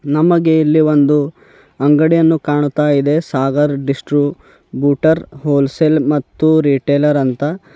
ನಮಗೆ ಇಲ್ಲಿ ಒಂದು ಅಂಗಡಿಯನ್ನು ಕಾಣ್ತಾಯಿದೆ ಸಾಗರ್ ಡಿಸ್ಟ್ರುಬೂಟರ್ ವೋಲ್ ಸೇಲ್ ಮತ್ತು ರೀಟೈಲರ್ ಅಂತ.